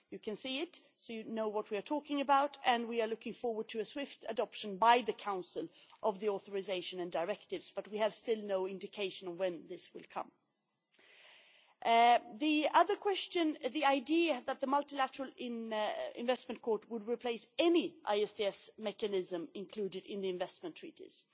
You can see it, so you will know what we are talking about, and we are looking forward to the swift adoption by the Council of the authorisation and directives. But we still have no indication of when this will come. On the other question, the idea that the Multilateral Investment Court would replace any ISDS mechanism included in the investment treaties